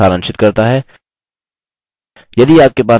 यह spoken tutorial project को सारांशित करता है